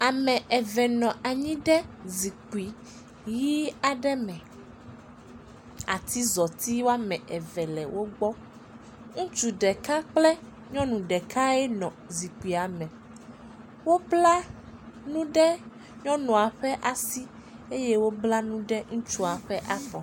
Ame eve nɔ anyi ɖe zikpui ʋi aɖe me, atizɔti woame eve nɔ wo gbɔ, ŋutsu ɖeka kple nyɔnu ɖekae ye nɔ zikpuia me, wobla nu ɖe nyɔnua ƒe asi eye wobla nu ɖe ŋutsua ƒe afɔ.